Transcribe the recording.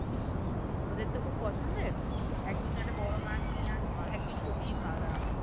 তোদের তো খুব পছন্দের একদিন একটা বোরো মাছ নিয়ে এসব একদিন জমিয়ে খাওয়া দাও হবে